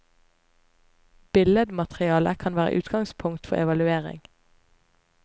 Billedmateriale kan være utgangspunkt for evaluering.